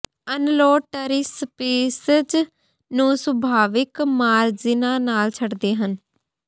unload tree species ਨੂੰ ਸੁਭਾਵਿਕ ਮਾਰਜਿਨਾਂ ਨਾਲ ਛੱਡਦੇ ਹਨ